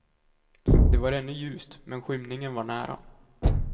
Det var ännu ljust, men skymningen var nära.